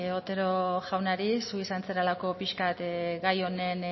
otero jaunari zu izan zarelako pixka bat gai honen